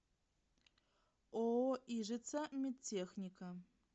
ооо ижица медтехника